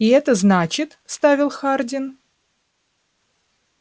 и это значит вставил хардин